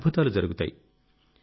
అద్భుతాలు జరుగుతాయి